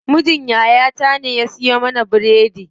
Mijin yaya ta ne ya siyo mana biredi.